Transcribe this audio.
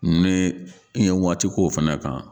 Ne i ye waati k'o fana kan.